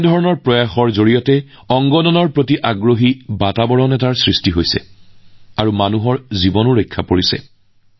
এনে প্ৰচেষ্টাৰ বাবে দেশত অংগদানৰ দিশত এক ইতিবাচক পৰিবেশৰ সৃষ্টি হৈছে আৰু মানুহৰ জীৱনো ৰক্ষা কৰা হৈছে